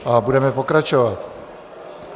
A budeme pokračovat.